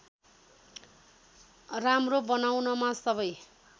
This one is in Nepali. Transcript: राम्रो बनाउनमा सबै